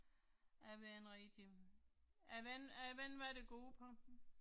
Jeg ved ikke rigtig. Jeg ved ikke, jeg ved ikke hvad det går ud på